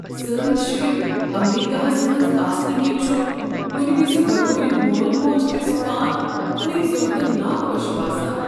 سٲنۍ شُرۍ امریکاہس منٛز آسنہٕ کنۍ چھ کُنہ وز بطور مول مٲج اسہ پان کُنُے زوٚن تہٕ نا خۄش باسان۔